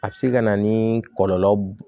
A bɛ se ka na ni kɔlɔlɔ